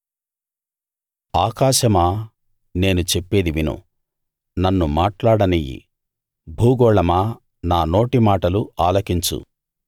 ఆకాశమా నేను చెప్పేది విను నన్ను మాట్లాడనియ్యి భూగోళమా నా నోటి మాటలు ఆలకించు